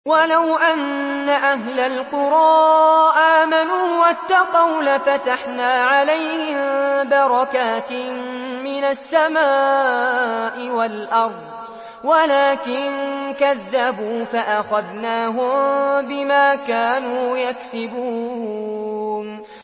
وَلَوْ أَنَّ أَهْلَ الْقُرَىٰ آمَنُوا وَاتَّقَوْا لَفَتَحْنَا عَلَيْهِم بَرَكَاتٍ مِّنَ السَّمَاءِ وَالْأَرْضِ وَلَٰكِن كَذَّبُوا فَأَخَذْنَاهُم بِمَا كَانُوا يَكْسِبُونَ